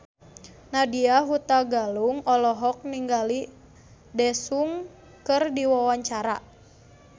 Nadya Hutagalung olohok ningali Daesung keur diwawancara